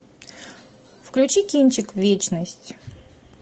включи кинчик вечность